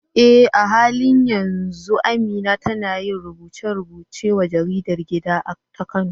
Eh, a halin yanzu Amina tana yin rubuce-rubuce wa jaridar gida ta Kano.